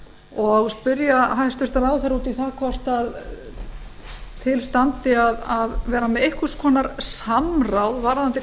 og spyrja hæstvirtan ráðherra út í það hvort til standi að vera með einhvers konar samráð varðandi